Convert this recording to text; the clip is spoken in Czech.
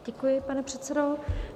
Děkuji, pane předsedo.